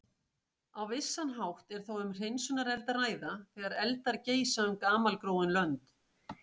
Á vissan hátt er þó um hreinsunareld að ræða, þegar eldar geisa um gamalgróin lönd.